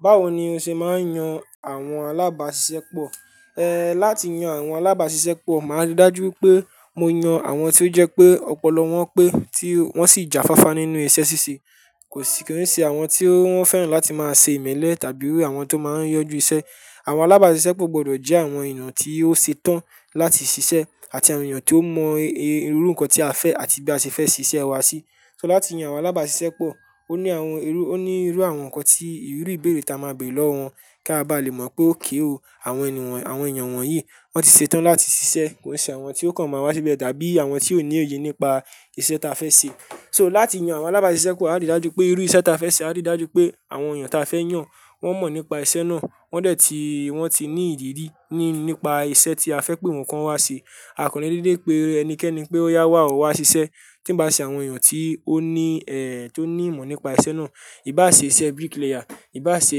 Báwo ni o ṣe máa ń yan àwọn alábàáṣiṣẹ́ pọ̀? Ehn, láti yan àwọn alábàáṣiṣẹ́ pọ̀, máa rí dájú pé mo yan àwọn tí ó jẹ́ pé ọpọlọ wọn pé tí wọ́n sì jáfáfá nínú iṣẹ́ ṣíṣe. Kò sí kí wọ́n ṣe àwọn tí wọ́n fẹ́ràn láti máa ṣe ìmẹ́lẹ́ tàbí àwọn tó máa ń yọjú isẹ́. Àwọn alábàáṣiṣẹ́ pọ̀ gbọdọ̀ jẹ́ àwọn ènìyàn tí ó ṣe tán láti ṣiṣẹ́ àti àwọn ènìyàn tí ó mọ irú nǹkan tí a fẹ́ àti bí a ṣe fẹ́ ṣiṣẹ́ wa ṣí. So láti yan àwọn alábàáṣiṣẹ́ pọ̀, ó ní àwọn irú, ó ní irú àwọn nǹkan tí ìrú ìbéèrè tí a máa béèrè lọ́wọ́ wọn kí a bá lè mọ̀ pé ókéòó àwọn ènìyàn, àwọn ènìyàn wọ̀nyí wọ́n ti ṣetán láti ṣiṣẹ́. Kò ṣe àwọn tí ó kàn máa wá síbẹ̀ tàbí àwọn tí ò ní òye nípa iṣẹ́ ta fẹ́ ṣe. So láti yan àwọn alábàáṣiṣẹ́ pọ̀, a á rí dájú pé irú iṣẹ́ ta fẹ́ ṣe, a rí dájú pé àwọn ènìyàn ta fẹ́ yàn wọ́n mọ̀ nípa isẹ́ náà. Wọ́n dẹ̀ ti, wọn ti ní ìrírí nípa isẹ́ tí a fẹ́ pé wọn kọ́ ọ wá ṣe. A ò kàn le dédé pé ẹnikẹ́ni pé ó yá wá ọ wá ṣiṣẹ́ tí ń ba à ṣe àwọn ènìyàn tí ó ní eh, tó ní ìmọ̀ nípa isẹ́ náà. Ìbá ṣe iṣẹ́ bricklayer, ìbá ṣe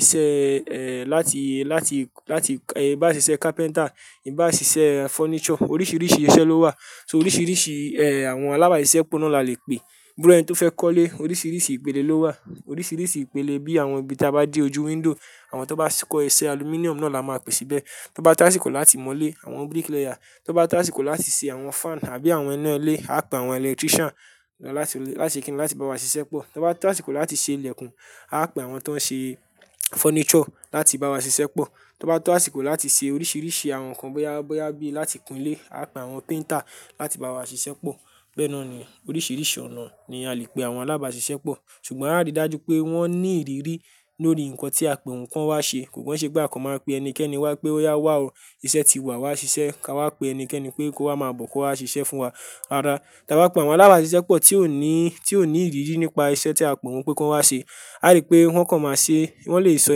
iṣẹ́ eh láti, láti, láti, ìbá ṣe iṣẹ́ carpenter, ìbá ṣe iṣẹ́ furniture, oríṣiríṣi iṣẹ́ ló wà. So oríṣiríṣi eh àwọn alábàáṣiṣẹ́ pọ̀ náà la le pe. Bí irú ẹni tó fẹ́ kọ́lé, oríṣiríṣi ìpele ló wà, oríṣiríṣi ìpele bí àwọn ibi tí a bá dé ojú window, àwọn tó bá s–kọ́ iṣẹ́ aluminum náà la máa pè síbẹ̀. Tí ó bá tó àsìkò láti mọ́ ilé, àwọn bricklayer. Tí ó bá tó àsìkò láti ṣe àwọn fan tàbí àwọn iná ilé, a pè àwọn electrician náà láti, láti ṣe kínni láti bá wa ṣiṣẹ́ pọ̀. Tí ó bá tó àsìkò láti ṣe ilẹ̀kùn, a pè àwọn tó ń ṣe furniture láti bá wa ṣiṣẹ́ pọ̀. Tí ó bá tó àsìkò láti ṣe oríṣiríṣi àwọn nǹkan bóyá, bóyá bí láti kún ilé, a pè àwọn painter láti bá wa ṣiṣẹ́ pọ̀. Bẹ́ẹ̀ náà ni oríṣiríṣi ọ̀nà ni a le pe àwọn alábàáṣiṣẹ́ pọ̀. Ṣùgbọ́n a á rí dájú pé wọ́n ní ìrírí lórí nǹkan tí a pè wọ́n kí wọ́n wá ṣe. Kò kàn ń ṣẹ́ pé akàn máa pe ẹnikẹ́ni wá pé ó yá wá ọ, iṣẹ́ ti wá, wá ṣiṣẹ́. Ka wá pe ẹnikẹ́ni pé kó wá máa bọ̀ kó wá ṣiṣẹ́ fún wa. Rárá, tí a bá pe àwọn alábàáṣiṣẹ́ pọ̀ tí ò ní, tí ò ní ìrírí nípa iṣẹ́ tí a pè wọ́n pé kán wá ṣe, a á ri pé wọ́n kàn máa ṣe, wọn le sọ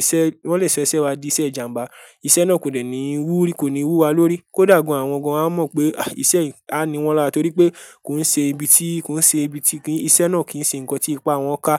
iṣẹ–wọn le sọ iṣẹ wa di iṣẹ ìjàmbá, iṣẹ náà kò dẹ̀ ní wú ri–kò ní wú wa lórí kódà gan àwọn gan a mọ pe ah, isẹ yìí a niwọn lára torípé kò n se ibi tí –kò n se ibi tí ki–isẹ́ náà kì í se ǹkan tí ipá wọ́n ká.